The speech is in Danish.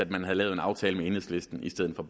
man havde lavet en aftale med enhedslisten i stedet for